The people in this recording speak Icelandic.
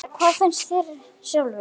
Þóra: Hvað finnst þér sjálfum?